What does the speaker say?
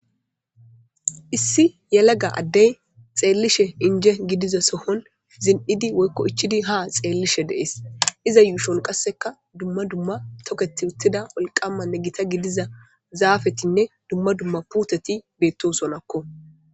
Issi yelaga ade xelishe inje gidiza sohon zinidi woyiko ichidi ha xelishe de,ees iza yushon qasika duma duma toketiwutida wolqamanne gita gidiza zafetnne duma duma puteti betosonako